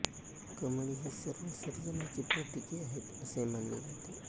कमळ ही सर्व सर्जनाची प्रतीके आहेत असे मानले जाते